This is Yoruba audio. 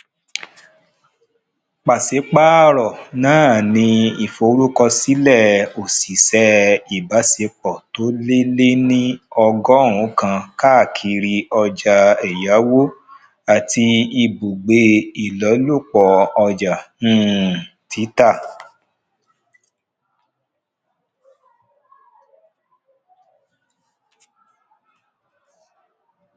pasipaaro náà ni ìforúkọsílẹ oṣiṣẹ ibaṣepọ tó lé lé ní ọgọrùn kan káàkiri ọjà èyáwó àti ibùgbé ilolupọ ọja um títà